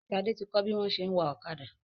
Shade tí kò bí wón ṣe wá Ọ̀kadà.